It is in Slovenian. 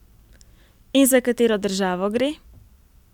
In za katero državo gre?